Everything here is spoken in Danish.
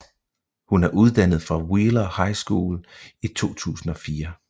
Hun er uddannet fra Wheeler High School i 2004